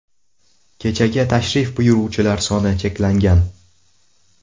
Kechaga tashrif buyuruvchilar soni cheklangan.